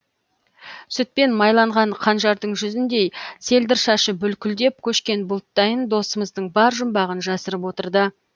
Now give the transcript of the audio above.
сүтпен майланған қанжардың жүзіндей селдір шашы бүлкілдеп көшкен бұлттайын досымыздың бар жұмбағын жасырып отырды